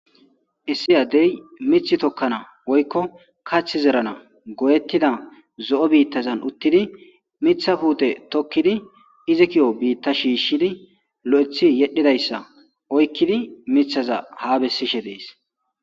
Issi addey mith tokkana woykko kath zerana goyettida zo'o biittazan uttidi mitha puute tokkidi izi ki'o biitta shiishshidi lo'ethi yedhidayssa oykkidi mithaza ha bessishe dees.